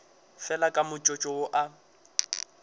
fela ka motsotso wo a